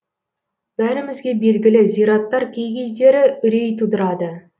бәрімізге белгілі зираттар кей кездері үрей тудырады